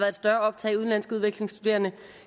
et større optag af udenlandske udvekslingsstuderende